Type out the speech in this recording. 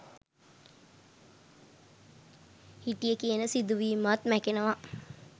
හිටිය කියන සිදුවීමත් මැකෙනව.